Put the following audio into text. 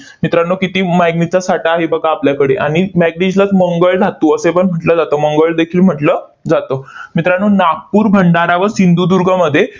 मित्रांनो, किती manganese चा साठा आहे बघा आपल्याकडे आणि manganese लाच मंगळ धातू असेपण म्हटलं जातं, मंगळ देखील म्हटलं जातं. मित्रांनो, नागपूर, भंडारा व सिंधुदुर्गमध्ये